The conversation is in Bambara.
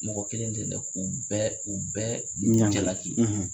Mɔgɔ kelen tɛ dɛ u bɛ u bɛ u bɛ jalaki.